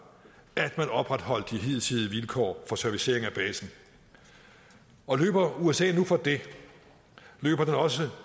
at man opretholdt de hidtidige vilkår for servicering af basen og løber usa nu fra det løber den også